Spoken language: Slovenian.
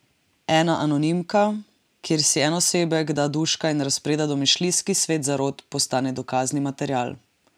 Ena anonimka, kjer si en osebek da duška in razpreda domišljijski svet zarot, postane dokazni material.